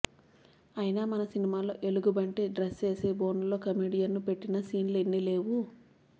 అయినా మన సినిమాల్లో ఎలగుబంటి డ్రస్సేసి బోనులో కమెడియన్ను పెట్టిన సీన్లు ఎన్ని లేవు